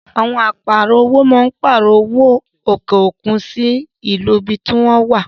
Àwọn Áà pààrọ̀ owó máa ń pààrọ̀ owó òkè òkun sì owó tí ìlú tí wọn wá.